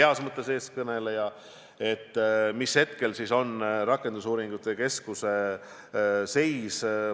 Missugune on praegu rakendusuuringute keskuse seis?